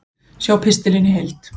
Sjá pistilinn í heild